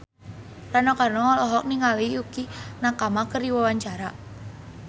Rano Karno olohok ningali Yukie Nakama keur diwawancara